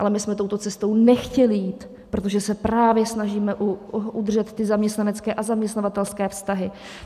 Ale my jsme touto cestou nechtěli jít, protože se právě snažíme udržet ty zaměstnanecké a zaměstnavatelské vztahy.